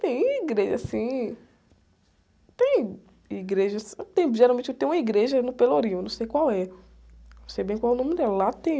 Tem igreja assim, tem igrejas, tem, geralmente tem uma igreja no Pelourinho, não sei qual é. Não sei bem qual o nome dela, lá tem...